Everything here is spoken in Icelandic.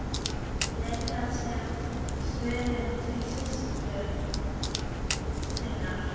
Leit sem snöggvast til systur sinnar.